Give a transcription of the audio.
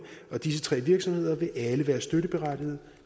og disse tre virksomheder vil alle være støtteberettigede